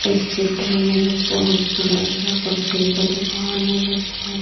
इस चित्र में बहोत बड़ासा कपड़े का दुकान है जिसमें--